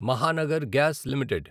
Mahanagar gas limited